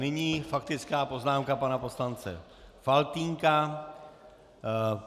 Nyní faktická poznámka pana poslance Faltýnka.